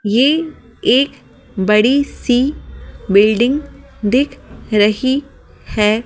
ये एक बड़ी सी बिल्डिंग दिख रही है।